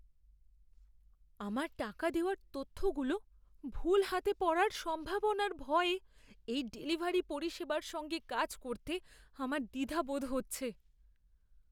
আমার টাকা দেওয়ার তথ্যগুলো ভুল হাতে পড়ার সম্ভাবনার ভয়ে এই ডেলিভারি পরিষেবার সঙ্গে কাজ করতে আমার দ্বিধাবোধ হচ্ছে।